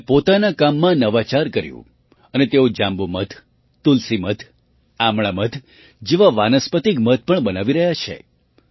તેમણે પોતાના કામમાં નવાચાર કર્યું અને તેઓ જાંબુ મધ તુલસી મધ આમળા મધ જેવાં વાનસ્પતિક મધ પણ બનાવી રહ્યા છે